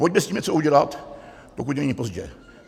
Pojďme s tím něco udělat, pokud není pozdě.